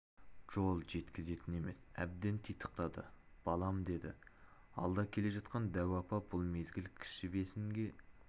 жол жеткізетін емес әбден титықтады балам деді алда келе жатқан дәу апа бұл мезгіл кіші бесінге